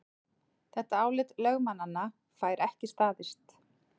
Þetta álit lögmannanna fær ekki staðist